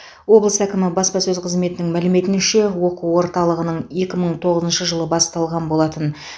облыс әкімі баспасөз қызметінің мәліметінше оқу орталығының екі мың тоғызыншы жылы басталған болатын